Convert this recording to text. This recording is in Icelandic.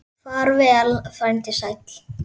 Far vel, frændi sæll.